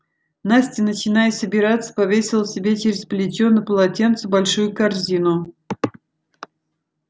настя начиная собираться повесила себе через плечо на полотенце большую корзину